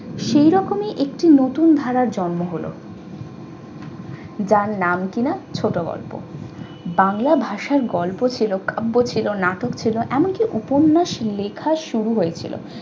সেই রকমই একটি নতুন ধারার জন্ম হলো যার নাম কিনা ছোট গল্প বাংলা। ভাষায় গল্প ছিল কাব্য ছিল নাটক ছিল এমনকি উপন্যাস লেখা শুরু হয়েছিল।